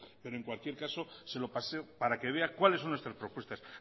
pero en cualquier caso se lo paso para que vea cuáles son nuestras propuestas